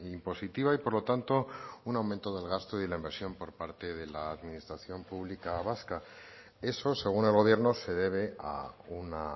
impositiva y por lo tanto un aumento del gasto y la inversión por parte de la administración pública vasca eso según el gobierno se debe a una